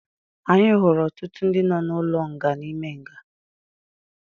Anyị hụrụ ọtụtụ ndị nọ n'ụlọ nga n'ime nga